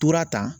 Tora tan